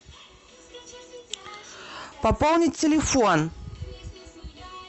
пополнить телефон